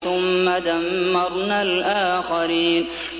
ثُمَّ دَمَّرْنَا الْآخَرِينَ